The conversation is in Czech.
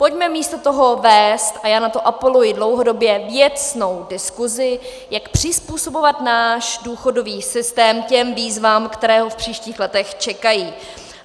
Pojďme místo toho vést, a já na to apeluji dlouhodobě, věcnou diskusi, jak přizpůsobovat náš důchodový systém těm výzvám, které ho v příštích letech čekají.